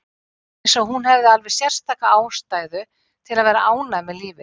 Það var eins og hún hefði alveg sérstaka ástæðu til að vera ánægð með lífið.